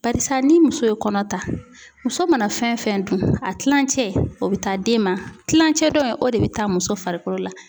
Barisa ni muso ye kɔnɔ ta muso mana fɛn fɛn dun a kilancɛ o bɛ taa den ma kilancɛ dɔ in o de bɛ taa muso farikolo la